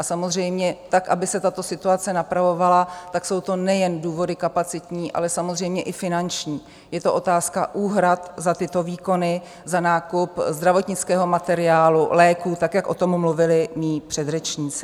A samozřejmě tak aby se tato situace napravovala, tak jsou to nejen důvody kapacitní, ale samozřejmě i finanční, je to otázka úhrad za tyto výkony, za nákup zdravotnického materiálu, léků, tak jak o tom mluvili mí předřečníci.